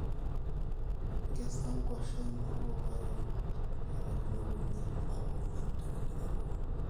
nkesa nkwashen olkokoyok ilapaitin okuni mpaka oonguan tenidip atuuno